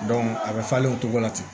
a bɛ falen o cogo la ten